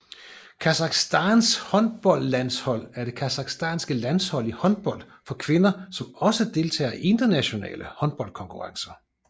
Kasakhstans håndboldlandshold er det kasakhiske landshold i håndbold for kvinder som også deltager i internationale håndboldkonkurrencer